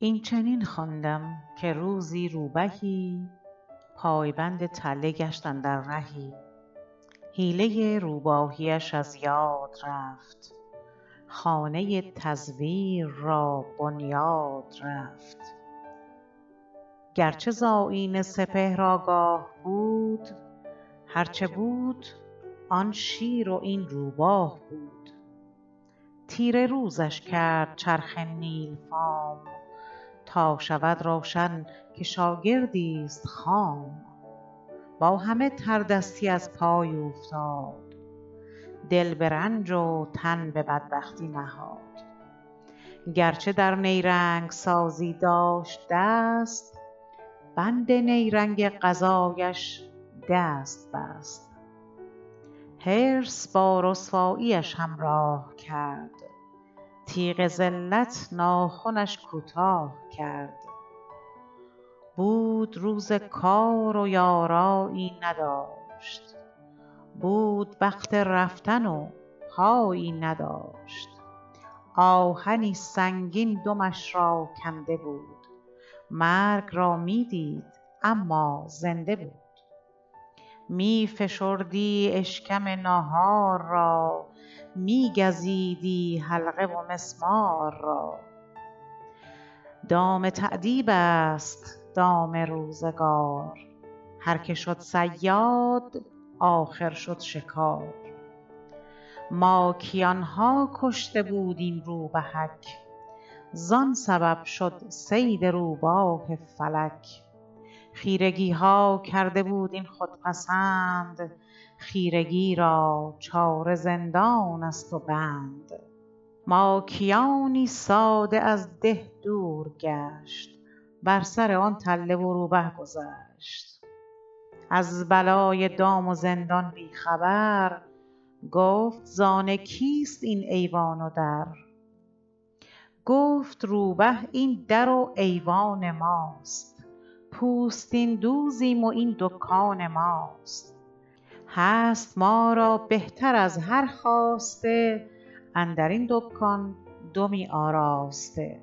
این چنین خواندم که روزی روبهی پایبند تله گشت اندر رهی حیله روباهی اش از یاد رفت خانه تزویر را بنیاد رفت گرچه ز آیین سپهر آگاه بود هرچه بود آن شیر و این روباه بود تیره روزش کرد چرخ نیل فام تا شود روشن که شاگردی ست خام با همه تردستی از پای اوفتاد دل به رنج و تن به بدبختی نهاد گرچه در نیرنگ سازی داشت دست بند نیرنگ قضایش دست بست حرص با رسواییش همراه کرد تیغ ذلت ناخنش کوتاه کرد بود روز کار و یارایی نداشت بود وقت رفتن و پایی نداشت آهنی سنگین دمش را کنده بود مرگ را می دید اما زنده بود می فشردی اشکم ناهار را می گزیدی حلقه و مسمار را دام تأدیب است دام روزگار هرکه شد صیاد آخر شد شکار ماکیان ها کشته بود این روبهک زان سبب شد صید روباه فلک خیرگی ها کرده بود این خودپسند خیرگی را چاره زندان ست و بند ماکیانی ساده از ده دور گشت بر سر آن تله و روبه گذشت از بلای دام و زندان بی خبر گفت زان کیست این ایوان و در گفت روبه این در و ایوان ماست پوستین دوزیم و این دکان ماست هست ما را بهتر از هر خواسته اندرین دکان دمی آراسته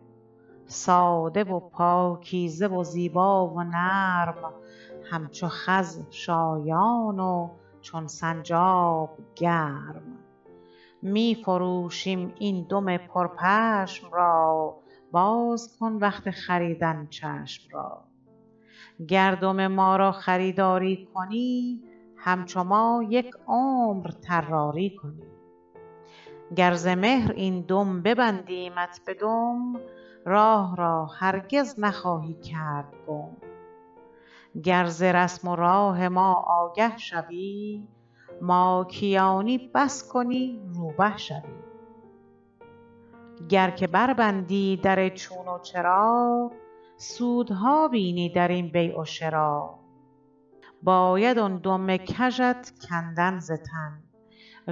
ساده و پاکیزه و زیبا و نرم همچو خز شایان و چون سنجاب گرم می فروشیم این دم پرپشم را باز کن وقت خریدن چشم را گر دم ما را خریداری کنی همچو ما یک عمر طراری کنی گر ز مهر این دم ببندیمت به دم راه را هرگز نخواهی کرد گم گر ز رسم و راه ما آگه شوی ماکیانی بس کنی روبه شوی گر که بربندی در چون و چرا سودها بینی در این بیع و شریٰ باید آن دم کژت کندن ز تن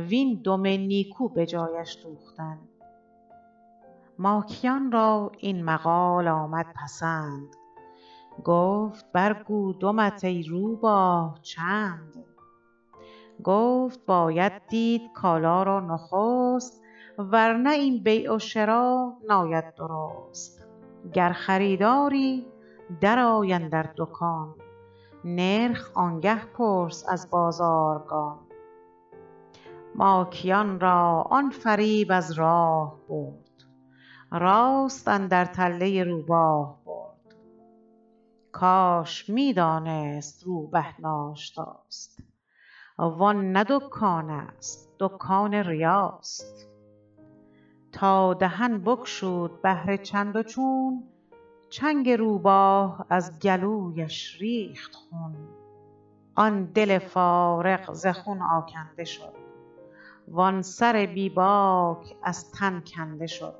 وین دم نیکو به جایش دوختن ماکیان را این مقال آمد پسند گفت برگو دمت ای روباه چند گفت باید دید کالا را نخست ورنه این بیع و شریٰ ناید درست گر خریداری درآی اندر دکان نرخ آنگه پرس از بازارگان ماکیان را آن فریب از راه برد راست اندر تله روباه برد کاش می دانست روبه ناشتاست وان نه دکان است دکان ریاست تا دهن بگشود بهر چندوچون چنگ روباه از گلویش ریخت خون آن دل فارغ ز خون آکنده شد وان سر بی باک از تن کنده شد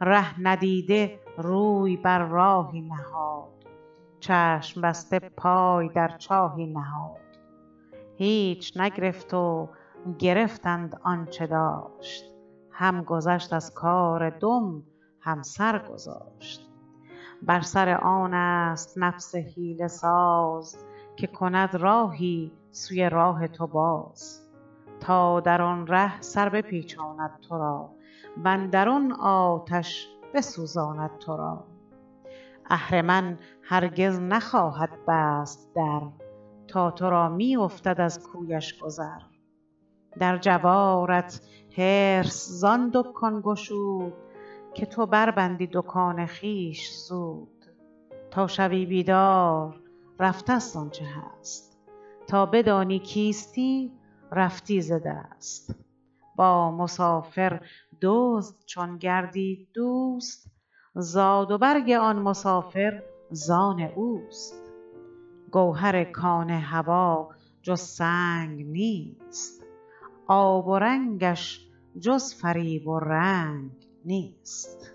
ره ندیده روی بر راهی نهاد چشم بسته پای در چاهی نهاد هیچ نگرفت و گرفتند آنچه داشت هم گذشت از کار دم هم سر گذاشت بر سر آن است نفس حیله ساز که کند راهی سوی راه تو باز تا در آن ره سر بپیچاند تو را وندر آن آتش بسوزاند تو را اهرمن هرگز نخواهد بست در تا تو را می افتد از کویش گذر در جوارت حرص زان دکان گشود که تو بربندی دکان خویش زود تا شوی بیدار رفتست آنچه هست تا بدانی کیستی رفتی ز دست با مسافر دزد چون گردید دوست زاد و برگ آن مسافر زان اوست گوهر کان هویٰ جز سنگ نیست آب ورنگش جز فریب و رنگ نیست